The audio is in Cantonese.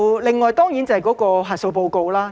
另外，當然要提到核數報告。